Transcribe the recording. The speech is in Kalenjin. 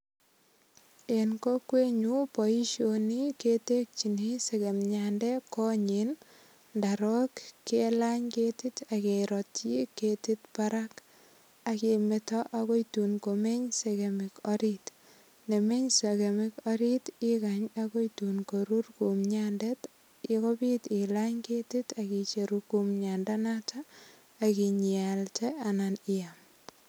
En kokwenyu boisioni ketekyini segemiatnde konyin, ndorok kelany ketit ak kerotyi ketit barak. Ak kemeto agoi tun komeny segemik orit. Ndamech segemik orit ikany agoi tun korur kumchandet kopit ilany ketit ak icheru kumnyandanoto ak inyialde anan iyam.